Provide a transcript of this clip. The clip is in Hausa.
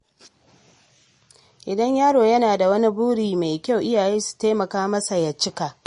Idan yaro yana da wani buri mai kyau, iyaye su taimaka masa ya cika shi.